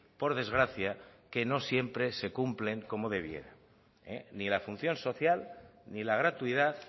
por desgracia que no siempre se cumplen como debiera ni la función social ni la gratuidad